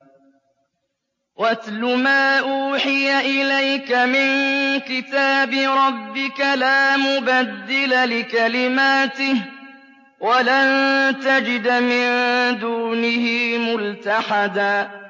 وَاتْلُ مَا أُوحِيَ إِلَيْكَ مِن كِتَابِ رَبِّكَ ۖ لَا مُبَدِّلَ لِكَلِمَاتِهِ وَلَن تَجِدَ مِن دُونِهِ مُلْتَحَدًا